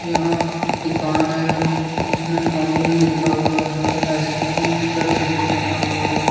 यहां दुकान है जिसमें अमूल लिखा हुआ है आइसक्रीम का चित्र बना हुआ है।